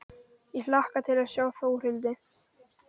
Ég hlakka til að sjá Þórhildi.